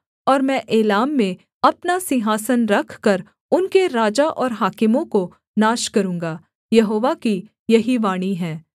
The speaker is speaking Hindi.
और मैं एलाम में अपना सिंहासन रखकर उनके राजा और हाकिमों को नाश करूँगा यहोवा की यही वाणी है